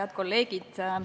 Head kolleegid!